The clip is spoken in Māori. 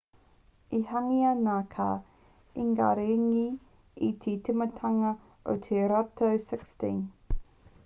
i hangaia ngā kāta ki ingaringi i te tīmatanga o te rautau 16